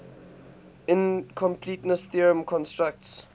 incompleteness theorem constructs